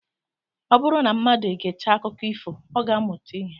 Ọ bụrụ na mmadụ egechaa akụkọ ifo, ọ ga-amụta ihe